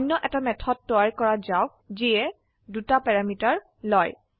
অনয় এটা মেথড তৈয়াৰ কৰা যাওক যি দুটা প্যাৰামিটাৰ লয়